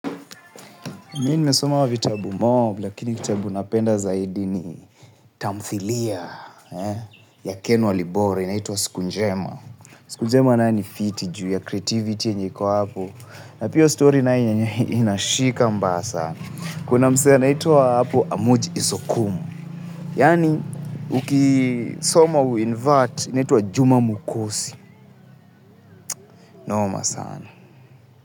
Mi nimesoma vitabu mob, lakini kitabu napenda zaidi ni tamthilia ya Ken Walibora, inaitwa Siku Njema. Siku Njema nayo ni fiti juu ya creativity yenye iko hapo. Na pia hiyo story nayo inashika mbaya sana. Kuna msee anaitwa hapo Amuji Isokumu. Yaani, ukisoma u-invert, inaitwa Juma Mukusi. Noma sana.